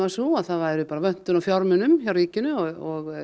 sú að það væri vöntun á fjármunum hjá ríkinu og